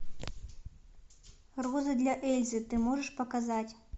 розы для эльзы ты можешь показать